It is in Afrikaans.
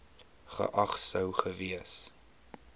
geag sou gewees